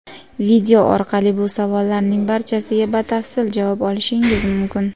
Video orqali bu savollarning barchasiga batafsil javob olishingiz mumkin.